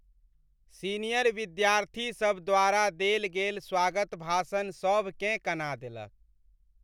Senior विद्यार्थीसभ द्वारा देल गेल स्वागत भाषण सभकेँ कना देलक।